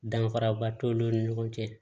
Danfaraba t'olu ni ɲɔgɔn cɛ